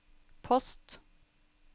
post